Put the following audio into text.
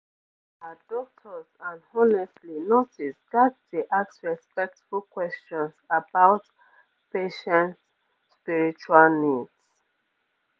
ah doctors and honestly nurses ghats dey ask respectful questions about patients spiritual needs